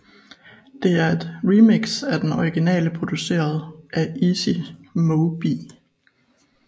Det er et remix af den originale produceret af Easy Mo Bee